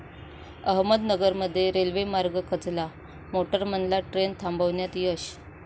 अहमदनगरमध्ये रेल्वे मार्ग खचला, मोटरमनला ट्रेन थांबवण्यात यश